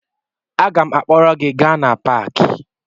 Aga m akpọrọ gị gaa na paakị